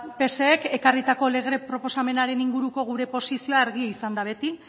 psek ekarritako lege proposamenaren inguruko gure posizioa argia izan da beti